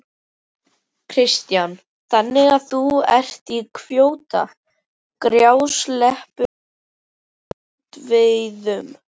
Kristján: Þannig að þú ert í kvóta, grásleppu og strandveiðum?